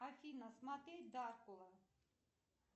афина смотреть дракула